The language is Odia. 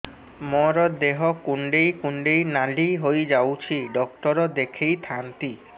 ମୋର ଦେହ କୁଣ୍ଡେଇ କୁଣ୍ଡେଇ ନାଲି ହୋଇଯାଉଛି ଡକ୍ଟର ଦେଖାଇ ଥାଆନ୍ତି